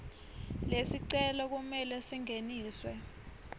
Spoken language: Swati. lesicelo kumele singeniswe